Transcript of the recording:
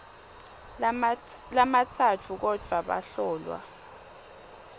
lamatsatfu kodvwa bahlolwa